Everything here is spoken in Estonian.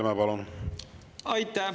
Aitäh!